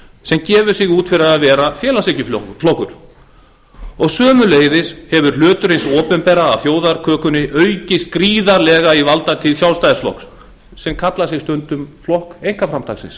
sem gefur sig út fyrir að vera félagshyggjuflokkur sömuleiðis hefur hlutur hins opinbera af þjóðarkökunni aukið gríðarlega í valdatíð sjálfstæðisflokksins sem kallar sig stundum flokk einkaframtaksins